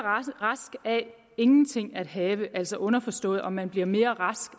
rask af ingenting at have altså underforstået om man bliver mere rask